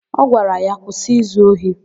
Ọ gwara ya, "kwụsị izu ohi"!